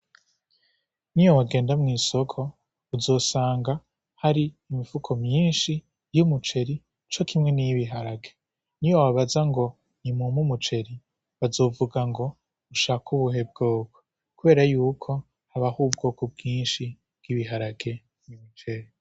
Ni yo wagenda mw'isoko uzosanga hari imifuko myinshi y'umuceri co kimwe niyibiharage ni yo babaza ngo ni mumpu umuceri bazovuga ngo ushaka ubuhe bwoko, kubera yuko habaho ubwoko bwinshi bwibiharage n'mucere.